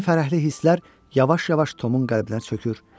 Yeni fərəhli hisslər yavaş-yavaş Tomun qəlbinə çökür.